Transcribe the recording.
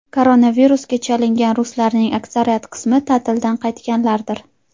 Koronavirusga chalingan ruslarning aksariyat qismi ta’tildan qaytganlardir.